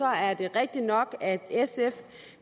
er det rigtigt nok at sf